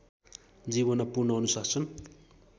जीवनमा पूर्ण अनुशासन